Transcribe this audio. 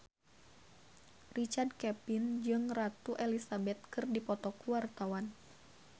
Richard Kevin jeung Ratu Elizabeth keur dipoto ku wartawan